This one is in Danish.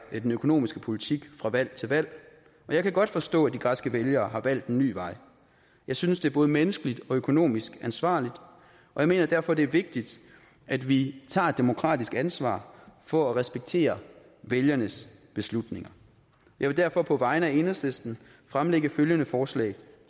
den økonomiske politik fra valg til valg og jeg kan godt forstå at de græske vælgere har valgt en ny vej jeg synes det er både menneskeligt og økonomisk ansvarligt og jeg mener derfor at det er vigtigt at vi tager et demokratisk ansvar for at respektere vælgernes beslutninger jeg vil derfor på vegne af enhedslisten fremsætte følgende forslag